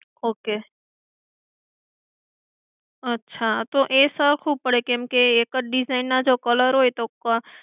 okay અચ્છા. તો એ સકવું પડે કેમ કે એક જ design ના colour હોય તો